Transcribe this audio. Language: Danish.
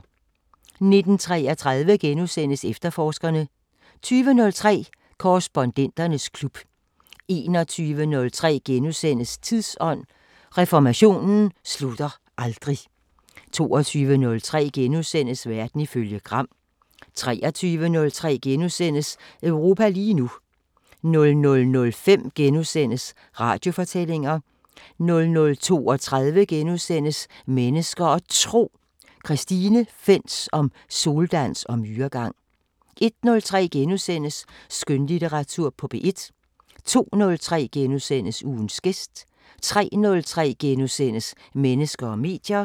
19:33: Efterforskerne * 20:03: Korrespondenternes klub 21:03: Tidsånd: Reformationen slutter aldrig * 22:03: Verden ifølge Gram * 23:03: Europa lige nu * 00:05: Radiofortællinger * 00:32: Mennesker og Tro: Christine Fentz om soldans og myregang * 01:03: Skønlitteratur på P1 * 02:03: Ugens gæst * 03:03: Mennesker og medier *